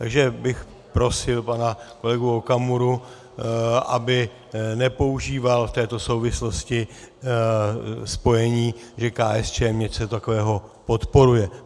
Takže bych prosil pana kolegu Okamuru, aby nepoužíval v této souvislosti spojení, že KSČM něco takového podporuje.